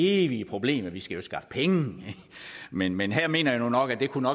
evige problem at vi skal skaffe penge men men her mener jeg nu nok at det kunne